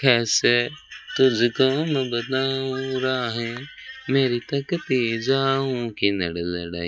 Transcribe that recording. खैसे तुझको मैं बताऊँ राहे मेरी तकती जाऊँ किनण लड़इ